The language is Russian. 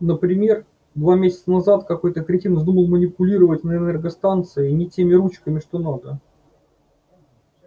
например два месяца назад какой-то кретин вздумал манипулировать на энергостанции не теми ручками что надо